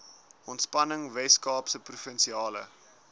ontspanning weskaapse provinsiale